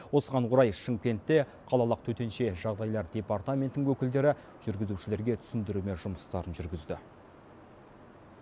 осыған орай шымкентте қалалық төтенше жағдайлар департаментінің өкілдері жүргізушілерге түсіндірме жұмыстарын жүргізді